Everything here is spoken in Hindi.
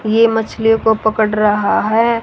ये मछलियों को पकड़ रहा है।